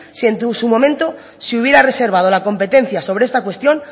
si en su momento se hubiera reservado la competencia sobre esta cuestión